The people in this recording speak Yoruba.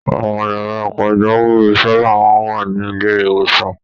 Àwọn yàrá pajawiri sábà máa ń wà ní ilé-ìwòsàn.